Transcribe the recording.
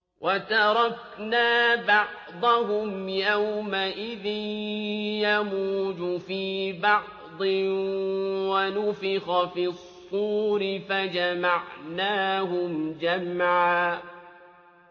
۞ وَتَرَكْنَا بَعْضَهُمْ يَوْمَئِذٍ يَمُوجُ فِي بَعْضٍ ۖ وَنُفِخَ فِي الصُّورِ فَجَمَعْنَاهُمْ جَمْعًا